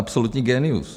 Absolutní génius.